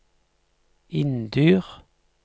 Inndyr